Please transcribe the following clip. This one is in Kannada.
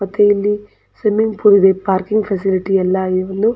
ಮತ್ತೆ ಇಲ್ಲಿ ಸ್ವಿಮ್ಮಿಂಗ್ ಪೂಲ್ ಗೆ ಪಾರ್ಕಿಂಗ್ ಫೆಸಿಲಿಟಿ ಎಲ್ಲ ಇಲ್ಲಿ--